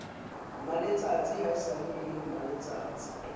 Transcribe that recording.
mmaletsatsi haesale e le mmaletsatsi